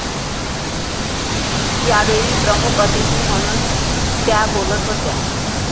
यावेळी प्रमुख अतिथी म्हणून त्या बोलत होत्या.